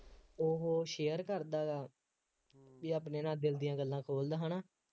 ਉਹ share ਕਰਦਾ ਜਾਂ ਆਪਣੇ ਨਾਲ ਦਿਲ ਦੀਆਂ ਗੱਲਾਂ ਖੋਲ੍ਹਦਾ ਹੈ ਨਾ